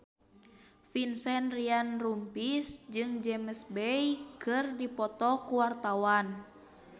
Vincent Ryan Rompies jeung James Bay keur dipoto ku wartawan